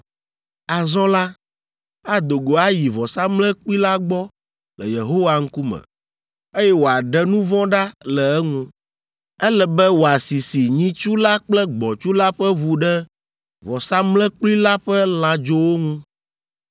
“Azɔ la, ado go ayi vɔsamlekpui la gbɔ le Yehowa ŋkume, eye wòaɖe nu vɔ̃ ɖa le eŋu. Ele be wòasisi nyitsu la kple gbɔ̃tsu la ƒe ʋu ɖe vɔsamlekpui la ƒe lãdzowo ŋu,